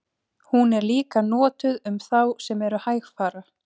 Hún er líka notuð um þá sem eru hægfara.